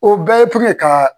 O bɛɛ ye puŋɛ kaa